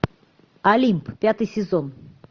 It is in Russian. олимп пятый сезон